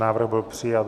Návrh byl přijat.